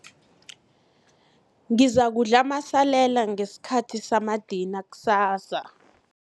Ngizakudla amasalela ngesikhathi samadina kusasa.